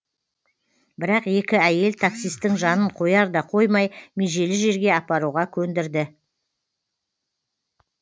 бірақ екі әйел таксистің жанын қояр да қоймай межелі жерге апаруға көндірді